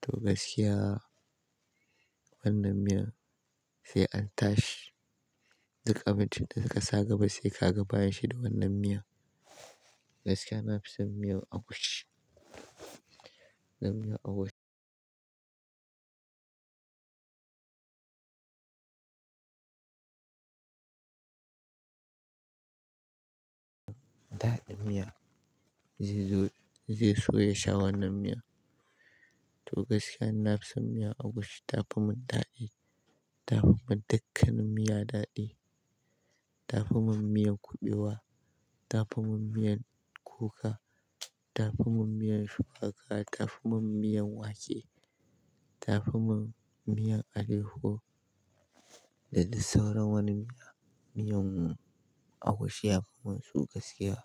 to gaskiya wannan miyan sai an tashi. Duk abincin da ka sa gaba sai ka ga bayan shi da wannan miya. Gaskiya na fi son miyan agushi, zan miyan ago daɗin miya zai zo, zai so ya sha wannan miya. To gaskiya na fi son miyan agushi, ta fi mun daɗi. Ta fi mun dukkanin miya daɗi. Ta fi mun miyan kuɓewa, ta fi mun miyan kuka, ta fi mun miyan shuwaka, ta fi mun miyan wake, ta fi mun miyan aleyahu Dadai sauran wani miya, miyan agushi ya fi mun su gaskiya.